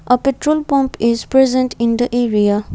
a petrol pump is present in the area.